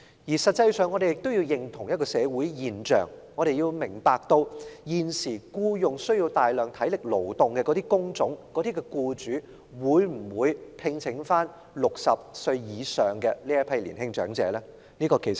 事實上，我們也要認清一種社會現象，要明白現時需要大量體力勞動的工種的僱主會否聘用60歲以上的年青長者。